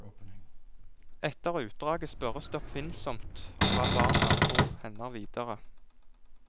Etter utdraget spørres det oppfinnsomt om hva barna tror hender videre.